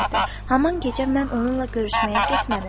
Həmin gecə mən onunla görüşməyə getmədim.